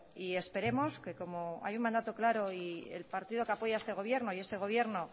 y esperemos que como hay un mandato claro y el partido que apoya este gobierno y este gobierno